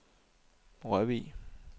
Rørvig